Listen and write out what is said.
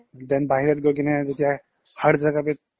then বাহিৰত গৈ কিনে যেতিয়া